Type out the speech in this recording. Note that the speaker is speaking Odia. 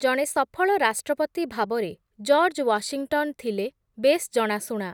ଜଣେ ସଫଳ ରାଷ୍ଟ୍ରପତି ଭାବରେ ଜର୍ଜ ୱାଶିଂଟନ୍ ଥିଲେ ବେଶ୍ ଜଣାଶୁଣା ।